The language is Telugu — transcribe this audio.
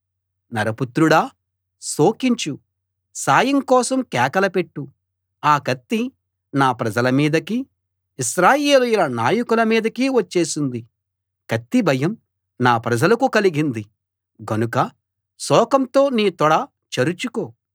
నరపుత్రుడా శోకించు సాయం కోసం కేకలుపెట్టు ఆ కత్తి నా ప్రజల మీదకీ ఇశ్రాయేలీయుల నాయకుల మీదకీ వచ్చింది కత్తి భయం నా ప్రజలకు కలిగింది గనుక శోకంతో నీ తొడ చరుచుకో